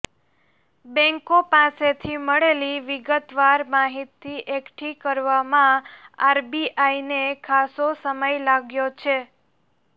બેંકો પાસેથી મળેલી વિગતવાર માહિતી એકઠી કરવામાં આરબીઆઈને ખાસો સમય લાગ્યો છે